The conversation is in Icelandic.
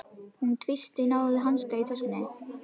Hún tvísteig, náði í hanska í töskunni.